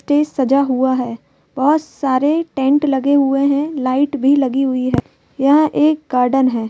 Stage सजा हुआ है बहोत सारे टेंट लगे हुए हैं लाइट भी लगी हुई है यह एक गार्डन है।